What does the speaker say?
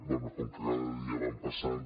bé com que cada dia van passant